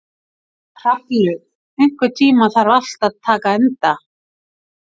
Hrafnlaug, einhvern tímann þarf allt að taka enda.